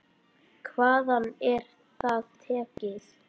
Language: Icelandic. Hvaðan er það tekið?